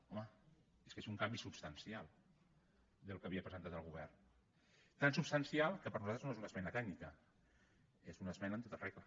home és que és un canvi substancial del que havia presentat el govern tan substancial que per nosaltres no és una esmena tècnica és una esmena en tota regla